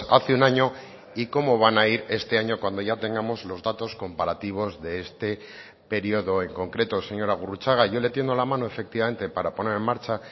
hace un año y cómo van a ir este año cuando ya tengamos los datos comparativos de este periodo en concreto señora gurrutxaga yo le tiendo la mano efectivamente para poner en marcha